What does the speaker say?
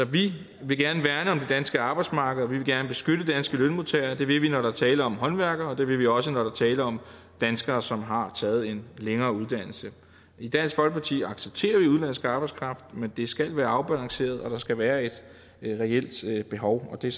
vi vil gerne værne om det danske arbejdsmarked og vi vil gerne beskytte danske lønmodtagere det vil vi når der er tale om håndværkere og det vil vi også når der er tale om danskere som har taget en længere uddannelse i dansk folkeparti accepterer vi udenlandsk arbejdskraft men det skal være afbalanceret og der skal være et reelt behov det